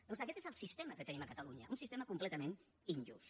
doncs aquest és el sistema que tenim a catalunya un sistema completament injust